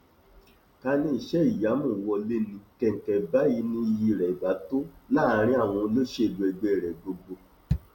ká ní iṣẹìyamù wọlé ní kẹǹkẹ báyìí ni iyì rẹ ibà tó láàrin àwọn olóṣèlú ẹgbẹ rẹ gbogbo